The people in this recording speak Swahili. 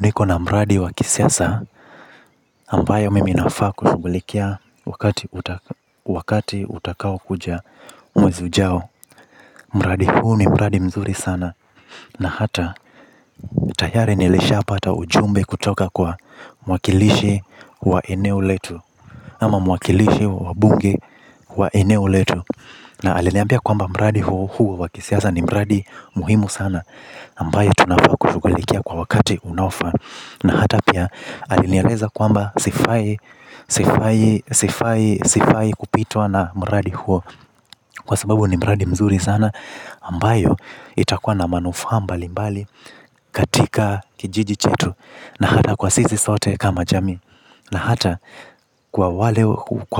Niko na mradi wa kisiasa ambayo mimi nafaa kushugulikia wakati utakao kuja, mwezi ujao. Mradi huu ni mradi mzuri sana. Na hata tayari nilishapata ujumbe kutoka kwa mwakilishi wa eneo letu ama mwakilishi wa bunge wa eneo letu. Na aliniambia kwamba mradi huo huo wa kisiasa ni mradi muhimu sana. Ambayo tunafaa kushugulikia kwa wakati unaofaa. Na hata pia, alinieleza kwamba sifai sifai kupitwa na mradi huo, kwa sababu ni mradi mzuri sana ambayo itakua na manufaa mbali mbali katika kijiji chetu. Na hata kwa sisi sote kama jamii. Na hata kwa